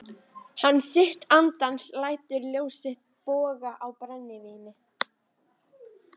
Hann sitt andans lætur ljós loga á brennivíni.